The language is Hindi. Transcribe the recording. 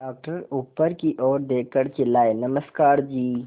डॉक्टर ऊपर की ओर देखकर चिल्लाए नमस्कार जी